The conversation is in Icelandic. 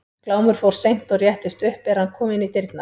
Glámur fór seint og réttist upp er hann kom inn í dyrnar.